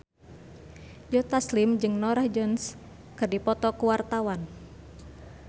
Joe Taslim jeung Norah Jones keur dipoto ku wartawan